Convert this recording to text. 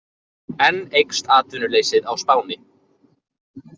Enn eykst atvinnuleysið á Spáni